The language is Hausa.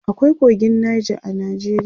akwai kogin Nija a Najeriya